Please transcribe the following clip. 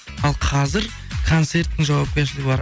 ал қазір концерттің жауапкершілігі бар